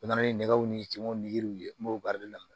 U nana ni nɛgɛw ni cɛw ni yiriw ye m'o baara de daminɛ